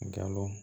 Gawo